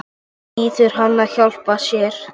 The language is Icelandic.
Biður hann að hjálpa sér.